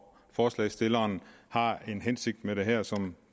forslagsstilleren har en hensigt med det her som